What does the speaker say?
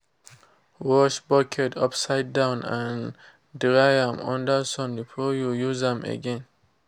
wash buckets upside down and dry am under sun before you use am again.